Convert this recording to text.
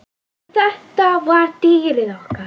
En þetta var dýrið okkar.